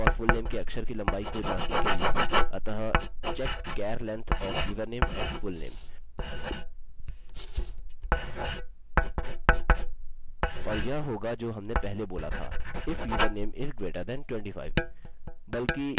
या फुलनेम की स्ट्रिंग लम्बाई 25 से अधिक है तो हम एको करते हैं length of username or fullname is too long!